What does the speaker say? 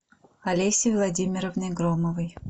олесей владимировной громовой